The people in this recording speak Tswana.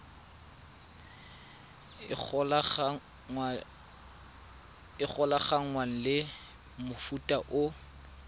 e golaganngwang le mofuta o